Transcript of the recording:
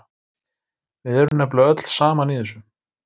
Við erum nefnilega öll saman í þessu.